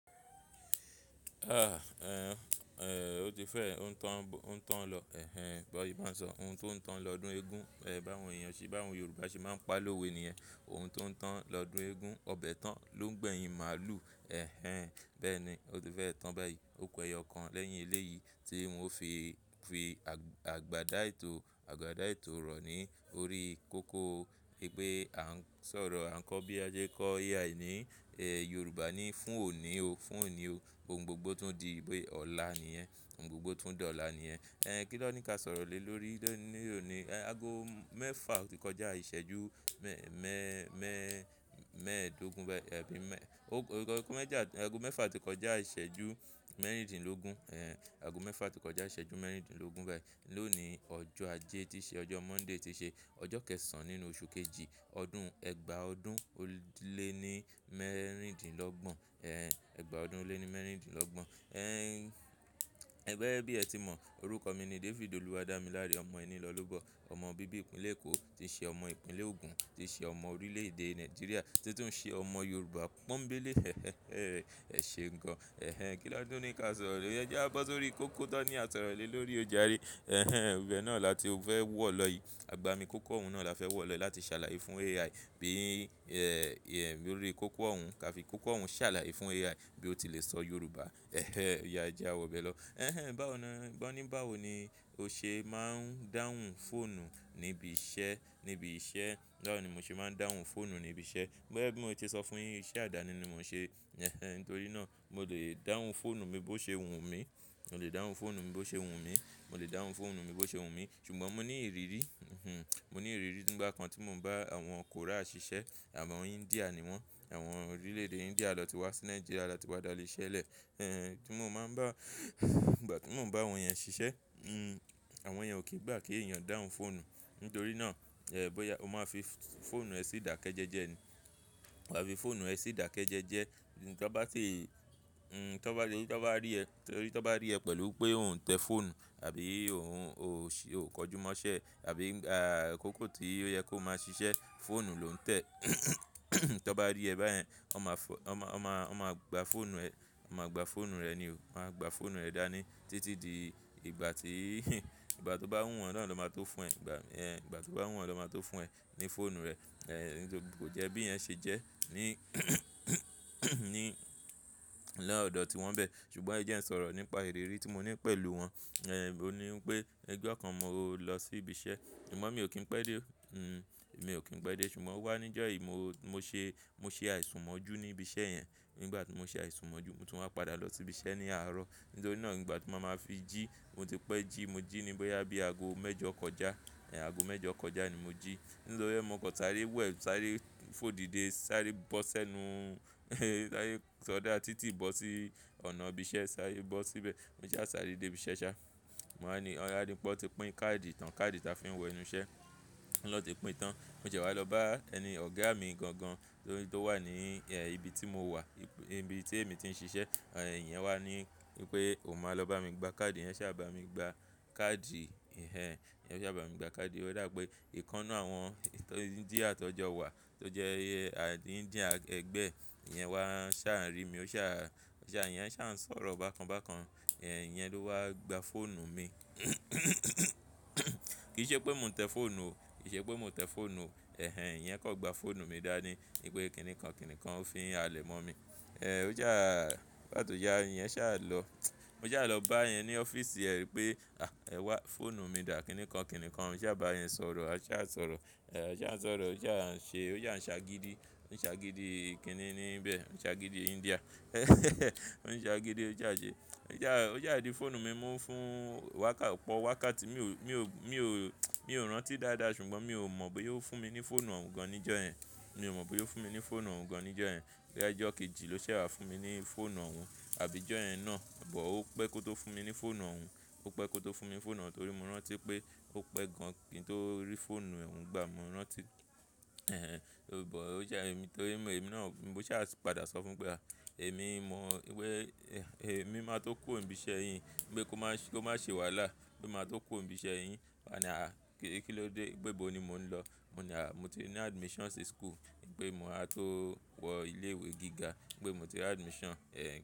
Ah! Ẹn, o ti fẹ́ òún tàn lọ. Ẹ̀hẹn, bọ̀ṣe má n sọ ohun tó ń tàn lọdún eégún, ẹ bà wọn ẹniyan, bà àwọn Yorùbá ṣe máa ń pa lówe nìyẹn. Ohun tó ń tàn lọdún eégún, ọbẹ̀ tán ló ń gbẹ̀yin màlú. Ẹ̀hẹn, bẹ́ẹ̀ ni, o ti fẹ́ tàn báyìí. Ó ku ẹyọkàn lẹ́yìn ilé yìí tí wọn fi, fi àgbàdá ètò, àgbàdá ètò rọ̀ ní orí kókó. Wípé kà ń sọ̀rọ̀, à ń kọ́ bí a ṣe n kọ AI ní, Yorùbá ní "fún òní o, fún òní o." Ohun gbogbo tún di pé ọ̀la ni yẹ́n, ohun gbogbo tún dà ọ̀la ni yẹ́n. Ẹn, kí lọ̀ọ́ ní ká sọ̀rọ̀ lé lórí lónìí òní. Ago mẹ́fà o tí kọjá ìṣẹ́jú mẹ́ẹ̀ẹ́dógún bẹ́ẹ̀, ẹ́ bí mẹ-- ago mẹ́fà tí kọjá ìṣẹ́jú mẹ́rìndínlógún, ẹn, ago mẹ́fà tí kọjá ìṣẹ́jú mẹ́rìndínlógún bẹ́ẹ̀. Lónìí ọjọ́ ajé tí ṣe, ọjọ́ Monday ti ṣe, ọjọ́ kẹ́ẹ̀sán nínú oṣù kejì, ọdún ẹgba ọdún ó lé ní mẹ́rìndínlọ́gbọ̀n. Ẹn, ẹgba ọdún ó lé ní mẹ́rìndínlọ́gbọ̀n. Ẹ́n, gẹ́gẹ́ bí ẹ ti mọ̀, orúkọ mi ni David Oluwadamilare. Ọmọ ẹni lọ́ lóbọ, ọmọ bíbí ìpínlẹ̀ Èkó, tíí ṣe ọmọ ìpínlẹ̀ Ogun, tíí ṣe ọmọ orílẹ̀ èdè Nàìjíríà, títún ṣe ọmọ Yorùbá pọ́nńbélé. Ẹ̀ ṣe gan an. Ẹ̀hẹn, kí lọ̀ọ́ tún ní ká sọ̀rọ̀ lè? Ẹ́jiá a gbọ́ sórí kókó tán ní à sọ̀rọ̀ lè lórí ò jàré. Ẹ̀hẹn, ibẹ̀ náà la ti o fẹ́ wọ̀ lọ yìí. Àgbá mi kókó òun náà la fẹ́ wọ̀ lọ láti ṣàlàyé fún AI bí, ẹ́, lorí kókó òun ká fi kókó òun ṣàlàyé fún AI bí ó ti le sọ Yorùbá. Ẹ̀hẹn, óyá a ẹ̀ jẹ́ a wọ̀ bẹ́ẹ̀ lọ. Ẹ̀hẹn, báwo ni, báwo ni mo ṣe máa ń dáhùn fóònù níbi iṣẹ́, níbi iṣẹ́? Báwo ni mo ṣe máa ń dáhùn fóònù níbi iṣẹ́? Gẹ́gẹ́ bí mo ti sọ fún yín, iṣẹ́ àdáni ni mo ń ṣe. Ẹ̀hẹn, nítorí náà mo lè dáhùn fóònù mi bó ṣe wù mí. Mo lè dáhùn fóònù mi bó ṣe wùn mí. Mo lè dáhùn fóònù mi bó ṣe wù mí. Ṣùgbọ́n mo ní ìrírí, mo ní ìrírí nígbà kan tí mo ń bá àwọn Korea ṣiṣẹ́, àwọn India ni wọ́n. Àwọn orílẹ̀ èdè India lọ ti wá sí Nàìjíríà láti padà ileṣẹ lẹ̀. Ẹn, tí mo máa ń bá, nígbà tí mo ń bá àwọn yẹn ṣiṣẹ́, àwọn yẹn ò kìí gbà kí ènìyàn dáhùn fóònù. Nítorí náà, ẹ́, bóyá o máa fi fóònù ẹ sí ìdákẹ́jẹ́jẹ́ ni. Wáà fi fóònù ẹ sí ìdákẹ́jẹ́jẹ́. Tí wọ́n bá ti, tí wọ́n bá rí ẹ, tí wọ́n bá rí ẹ pẹ̀lú pé òun ń tẹ fóònù àbí òun kò jùmọ̀ṣẹ́ àbí, ààkókó tí ó yẹ kó máa ṣiṣẹ́, fóònù ló ń tẹ̀. Tí wọ́n bá rí ẹ báyẹn, wọ́n máa fọ-- wọ́n máa, wọ́n máa gba fóònù ẹ. Wọ́n máa gba fóònù rẹ ni. Wọ́n máa gba fóònù rẹ dání títí di ìgbà tí ìgbà tó bá wù wọ́n náà na máa tó fún ẹ. Ìgbà, ẹ̀, ìgbà tó bá wù wọ́n na máa tó fún ẹ ní fóònù rẹ. Ẹ̀hẹn, nítorí kò jẹ́ bí iyẹn ṣe jẹ́ ní, ní ọ̀dọ̀ tí wọ́n bẹ̀. Ṣùgbọ́n ẹ jẹ́ n sọ̀rọ̀ nípa ìrírí tí mo ní pẹ̀lú wọn. Ẹ̀n, ó ní wípé ọjọ kàn mo lọ sí ibi iṣẹ́. Ṣùgbọ́n mi ò kín pẹ́ dé o. Hmm, èmi ò kín pẹ́ dé. Ṣùgbọ́n wá níjọ́ yìí, mo ṣe, mo ṣe àìsùnmọ́jú ní ibi iṣẹ́ yẹn. Nígbà tí mo ṣe àìsùnmọ́jú, mo tún máa padà lọ sí ibi iṣẹ́ ní àárọ̀. Nítorí náà nígbà tí mo máa fi jí, mo ti pẹ́ jí, mo jí ní bóyá bí ago mẹ́jọ kọjá. Ẹ̀n, ago mẹ́jọ kọjá ni mo jí. Nítorí ẹ́, mo kàn sàré wẹ̀, sàré fòdìde, sàre bọ́sẹ́nu, sàré ṣọdá títí bọ́ sí ọ̀nà ibi iṣẹ́. Sàré bọ́ síbẹ̀. Mo ṣà a sáré dé ibi iṣẹ́ ṣá. Mo wá ní, ọ̀yá pé wọ́n ti pín káàdì tán. Káàdì tí a fi ń wọ inú iṣẹ́. Wọ́n ni an ti pín tán. Mo ṣẹ́ wá lọ bá ẹni ọ̀gá mi gan gan tó wà ní ibi tí mo wà, ibi tí èmi ti ń ṣiṣẹ́. Ẹ̀n, ìyẹn wá ní wípé, "O máa lọ bá mi gba káàdì. Íyẹn ṣà bá mi gba káàdì." Ẹ̀hẹn, ìyẹn ṣà bá mi gba káàdì. Ó dà pé ìkan náà àwọn India tó jọ wà tó jẹ́ India akẹẹgbẹ̀ẹ́, ìyẹn wá ń ṣà ń rí mi. Ó ṣà, ẹ̀yẹn ṣà ń sọ̀rọ̀ bákan bákan. Ẹ̀n, ìyẹn ló wá gba fóònù mi. Kì í ṣe pé mò ń tẹ fóònù o. Kì í ṣe pé mò ń tẹ fóònù o. Ẹ̀hẹn, ìyẹn kàn gba fóònù mi dání ní pé kíni kan, kíni kan ó fi ń halẹ̀ mọ́ mi. Ẹ̀, ó ṣá à, nígbà tó yá, ìyẹn ṣà lọ. Mo ṣà lọ bá yẹn ní ọ́fíìsì ẹ pé, "À! Ẹ wá fóònù mi dà kíni kan, kíni kan." A ṣà bá yẹn sọ̀rọ̀. A ṣà sọ̀rọ̀. A ṣà ń sọ̀rọ̀. Ó ṣà ń ṣe, ó ṣà ń ṣágídí. Ó ń ṣágídí kíni níbẹ̀. Ó ń ṣágídí India. Ó ń ṣágídí, ó ṣà àn ṣe. Ó ṣá à dí fóònù mi mú fún wákàt-- pọ wákàtí mi ò, mi ò, mi ò, mi ò rántí dáadáa ṣùgbọ́n mi ò mọ̀ bóyá ó fún mi ní fóònù òun gan níjọ́ ẹ́ń. Mi ò mọ̀ bóyá ó fún mi ní fóònù òun gan níjọ́ ẹ́ń. Bóyá i jọ́ kejì ló ṣà wá fún mi ní fóònù òun. Àbí jọ yẹ́ń náà, buh ó pẹ́ kó tó fún mi ní fóònù ohun. Ó pẹ́ kó tó fún mi ní fóònù ọhun torí mo rántí pé ó pẹ́ gan kí n tó rí fóònù ọhun gbà. Mo rántí. Ẹ̀hẹn, tori buh ó jẹ́ èmi torí mo, èmi náà, mo ṣà padà sọ fún un pé, "À! Èmi mọ̀ wípé èmi máa tó kúrò ibi iṣẹ́ yín. Pé kó má ṣe wàhálà. Pé màá tó kúrò n bi iṣẹ́ yín." Ó wá ní, "À! Kí ló dé? Pé bo ni mò ń lọ." Mo ní, "À! Mo ti ní admission sí school." pé mo máa tó wọ ilé ìwé gíga. Pé mo ti ní admission. Ẹ̀n.